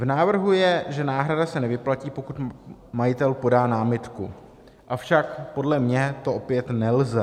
V návrhu je, že náhrada se nevyplatí, pokud majitel podá námitku, avšak podle mě to opět nelze.